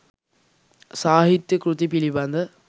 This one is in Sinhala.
සාහිත්‍ය කෘති පිළිබඳ